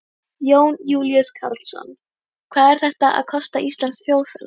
Jón Júlíus Karlsson: Hvað er þetta að kosta íslenskt þjóðfélag?